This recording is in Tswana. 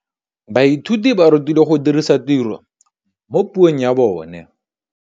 Baithuti ba rutilwe go dirisa tirwa mo puong ya bone.